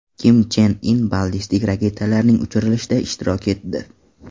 Kim Chen In ballistik raketalarning uchirilishida ishtirok etdi .